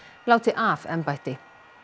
láti af embætti